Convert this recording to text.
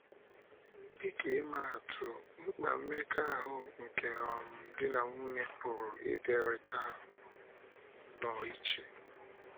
Dị ka imaatụ, mkpa mmekọahụ nke um di na nwunye pụrụ ịdịrịta um nnọọ iche.